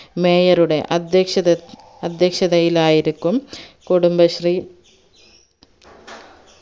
mayor ഉടെ അധ്യക്ഷ അധ്യക്ഷധയിലായിരിക്കും കുടുംബശ്രീ